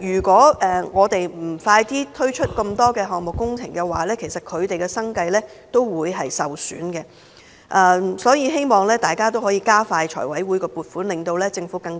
如果我們不加快推出更多工程項目，他們的生計亦會受損，所以希望大家加快財委會的撥款，令政府可